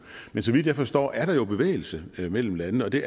men så vidt jeg forstår er der jo bevægelse mellem landene det